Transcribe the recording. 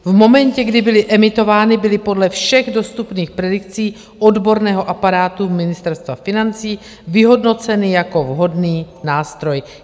V momentě, kdy byly emitovány, byly podle všech dostupných predikcí odborného aparátu Ministerstva financí vyhodnoceny jako vhodný nástroj.